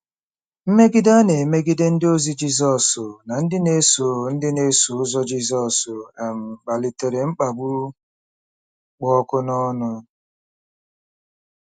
Mmegide a na-emegide ndịozi Jizọs na ndị na-eso ndị na-eso ụzọ Jizọs um kpalitere mkpagbu kpụ ọkụ n’ọnụ.